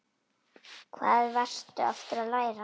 Hvað varstu aftur að læra?